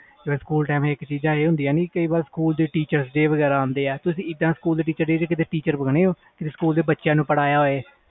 ਜਿਵੇ school time teachers day ਆਂਦੇ ਆ ਤੁਸੀ teachers day ਤੇ teacher ਬਣੇ ਹੋ ਜਿਵੇ ਬੱਚਿਆਂ ਨੂੰ ਪੜ੍ਹਾਇਆ ਹੋਵੇ